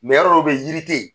yɔrɔ dɔw bɛ yen yiri te yi.